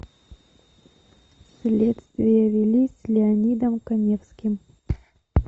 следствие вели с леонидом каневским